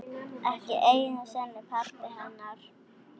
Ekki einu sinni pabbi hennar.